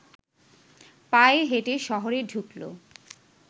পায়ে হেঁটে শহরে ঢুকলো